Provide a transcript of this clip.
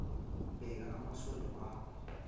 bheka amasondo akho